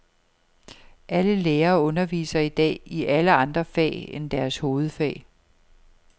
Alle lærere underviser i dag i alle andre fag end deres hovedfag.